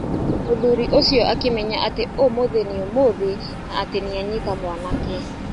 Mũthuri ũcio akĩmenya atĩ ũmũthĩ nĩ ũmũthĩ na atĩ nĩanyita mwanake.